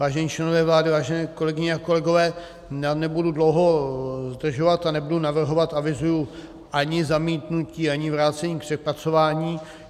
Vážení členové vlády, vážené kolegyně a kolegové, nebudu dlouho zdržovat a nebudu navrhovat, avizuji, ani zamítnutí, ani vrácení k přepracování.